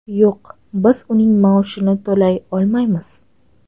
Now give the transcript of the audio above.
Yo‘q, biz uning maoshini to‘lay olmaymiz.